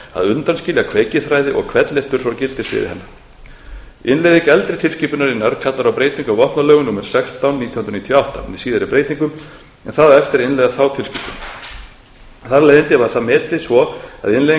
í þá átt að undanskilja kveikiþræði og hvellhettur frá gildissviði hennar innleiðing eldri tilskipunarinnar kallar á breytingu á vopnalögum númer sextán nítján hundruð níutíu og átta með síðari breytingum en það á eftir að innleiða þá tilskipun þar af leiðandi var það metið svo að innleiðing